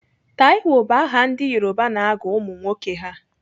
Taiwo bụ aha ndị Yoruba na-agụ ụmụnwoke ha.